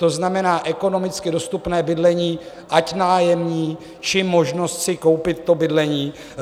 To znamená, ekonomicky dostupné bydlení, ať nájemní, či možnost si koupit to bydlení.